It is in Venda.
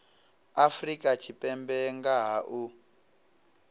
afrika tshipembe nga ha u